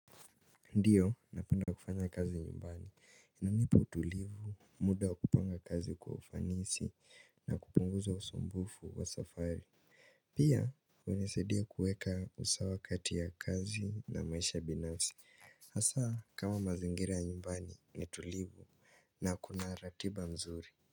Ndiyo, napenda kufanya kazi ya nyumbani. Inanipu tulivu, muda kupanga kazi kwa ufanisi na kupunguza usumbufu wa safari. Pia, unasaidia kuweka usawa kati ya kazi na maisha binanfi. Hasa kama mazingira ya nyumbani ni tulivu na kuna ratiba mzuri.